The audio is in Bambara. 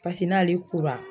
Paseke n'ale kora